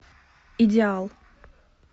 идеал